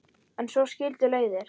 En svo skildu leiðir.